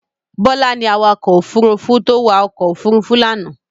Bọlá ni awakọ̀ òfurufó tó wa ọkọ̀ òfurufú lánàá.